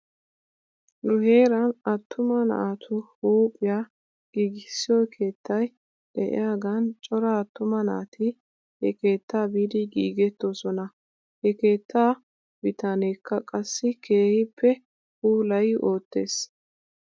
Nu heeran attuma naatu huuphphiyaa giigissiyoo keettay de'iyaagan cora attuma naati he keetta biidi giigettoosona. He keettaa bitaneekka qassi keehippe puulayi oottes